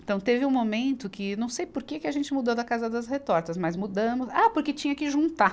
Então teve um momento que não sei por que que a gente mudou da Casa das Retortas, mas mudamos... Ah, porque tinha que juntar.